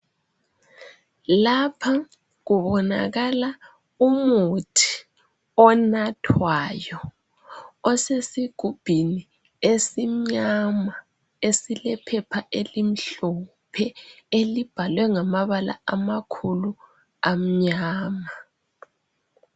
Lapha kubonakala umuthi onathwayo osesigubhini esimnyama esilephepha elimhlophe elibhalwe ngamabala amakhulu amnyama.